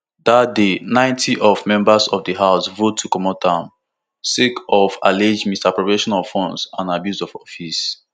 dat day ninety of members of di house vote to comot am sake of alleged misappropriation of funds and abuse of office